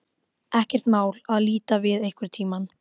Ekkert mál að líta við einhvern tíma.